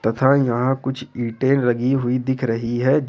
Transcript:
तथा यहां कुछ ईंटें लगी हुई दिख रही है।